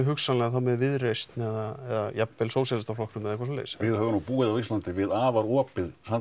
hugsanlega með Viðreisn eða jafnvel Sósíalistaflokknum eða svoleiðis við höfum nú búið á Íslandi við afar opið